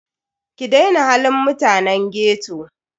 Ki daina halin mutanen ghetto.